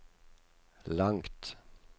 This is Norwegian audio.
langt